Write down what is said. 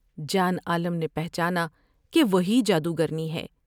جان عالم نے پہچانا کہ وہی جادوگرنی ہے ۔